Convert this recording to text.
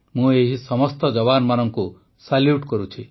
ମୁଁ ଏହି ସମସ୍ତ ଯବାନମାନଙ୍କୁ ସାଲୁ୍ୟଟ କରୁଛି